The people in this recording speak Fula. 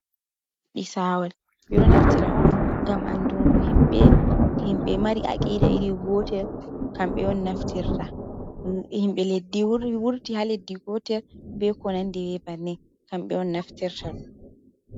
Ɓisawal ɓe ɗo naftira on ngam andungo himɓe mari aqida iri gotel kamɓe on naftirta, himɓe leddi wurti ha leddi gotel be ko nande we bannin kamɓe on naftirta.